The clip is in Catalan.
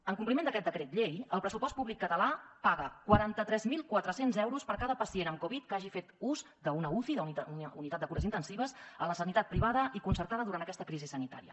en compliment d’aquest decret llei el pressupost públic català paga quaranta tres mil quatre cents euros per cada pacient amb covid que hagi fet ús d’una uci d’una unitat de cures intensives a la sanitat privada i concertada durant aquesta crisi sanitària